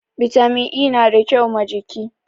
Bitamin E nada kau ma jiki